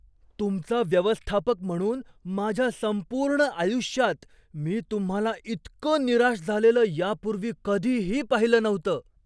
तुमचा व्यवस्थापक म्हणून माझ्या संपूर्ण आयुष्यात मी तुम्हाला इतकं निराश झालेलं यापूर्वी कधीही पाहिलं नव्हतं.